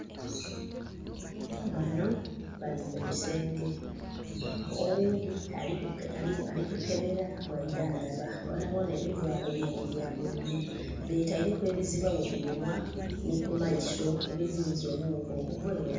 Banho bali mugusenge oghundhi ali ku kebera bwa idhandhaba bonhabonha ebivalo byeibwe bya bululu. Beteireku ebizibagho ku minhwa nhi ku maiso ebiziyiźa obughuka okuvere...